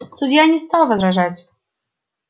судья не стал возражать